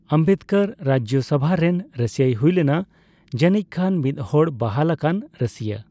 ᱟᱢᱵᱮᱫᱽᱠᱚᱨ ᱨᱟᱡᱡᱚᱥᱚᱵᱷᱟ ᱨᱮᱱ ᱨᱟᱹᱥᱤᱭᱟᱹᱭ ᱦᱩᱭᱞᱮᱱᱟ, ᱡᱟᱹᱱᱤᱡᱠᱷᱟᱱ ᱢᱤᱫᱦᱚᱲ ᱵᱟᱦᱟᱞ ᱟᱠᱟᱱ ᱨᱟᱹᱥᱤᱭᱟᱹ ᱾